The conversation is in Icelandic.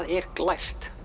er glært